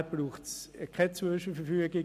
Daher braucht es keine Zwischenverfügung.